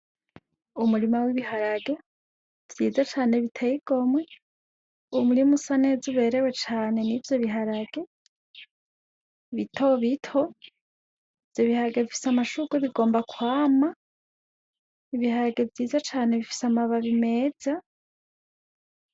Umurima w'ibiharage vyiza cane biteye igomwe umurima usa neza uberewe cane nivyo b'iharage bito bito ivyo b'iharage bifise amashurwe bigomba kwama ibiharage vyiza cane bifise amababi meza.